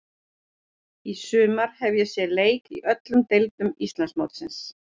Í sumar hef ég séð leiki í öllum deildum Íslandsmótsins.